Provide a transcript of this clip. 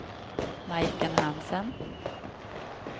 Majken Hansen